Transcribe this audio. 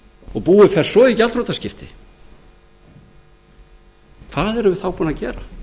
og búið fer svo í gjaldþrotaskipti hvað erum við þá búin að gera